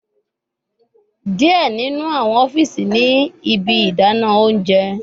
Diẹ ninu awọn ọfiisi ni ibi idana ounjẹ